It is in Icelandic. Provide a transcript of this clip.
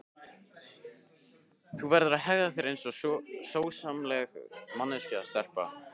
Þú verður að hegða þér einsog sómasamleg manneskja stelpa.